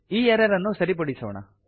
ಈ ಎರರ್ ಅನ್ನು ಸರಿಪಡಿಸೋಣ